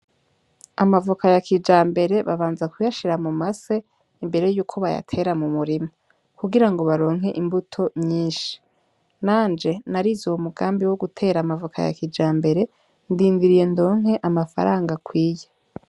Amavoka ya kijambere babanza kuyashira mumase imbere yuko bayatera m'umurima kugira baronke imbuto nyinshi, nanje narize uwo mugambi wo gutera amavoka ya kijambere ndindiriye ndonke amafaranga akwiye.